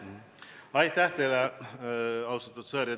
Aitäh teile, austatud Sõerd!